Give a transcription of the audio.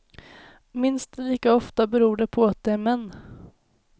Minst lika ofta beror det på att de är män.